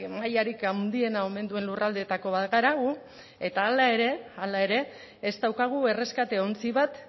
mailarik handiena omen duen lurraldeetako bat gara gu eta hala ere ez daukagu erreskate ontzi bat